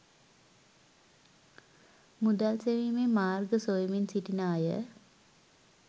මුදල් සෙවීමේ මාර්ග සොයමින් සිටින අය.